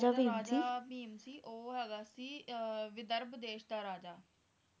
ਰਾਜਾ ਭੀਮ ਸੀ ਉਹ ਹੈਗਾ ਸੀ ਵਿਧਰਭ ਦੇਸ਼ ਦਾ ਰਾਜਾ